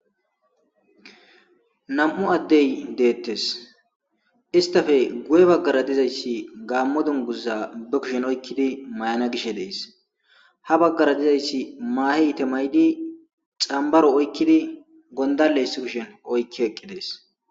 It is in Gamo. Nam'u addey deettes istafe guye baggara dizayssi gaammo dunguzza be kushen oykkidi may'ana gishe dees ha baggara dizayssi maahe ite may'di xambaro oykkidi gondalleys kishen oykki eqqi dees